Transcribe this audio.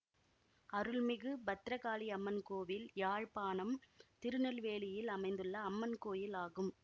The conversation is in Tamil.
அருள் மிகு பத்ரகாளி அம்மன் கோவில் யாழ்ப்பாணம் திருநெல்வேலியில் அமைந்துள்ள அம்மன் கோயில் ஆகும்